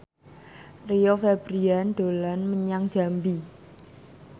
Rio Febrian dolan menyang Jambi